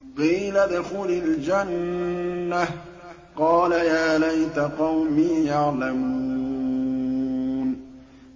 قِيلَ ادْخُلِ الْجَنَّةَ ۖ قَالَ يَا لَيْتَ قَوْمِي يَعْلَمُونَ